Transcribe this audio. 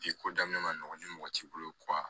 ko daminɛ man nɔgɔn ni mɔgɔ t'i bolo